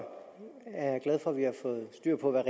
det er